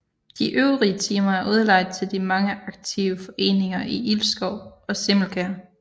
De øvrige timer er udlejet til de mange aktive foreninger i Ilskov og Simmelkær